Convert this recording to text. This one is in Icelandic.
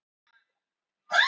Snákur fer úr hamnum.